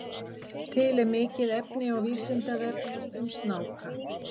Til er mikið efni á Vísindavefnum um snáka.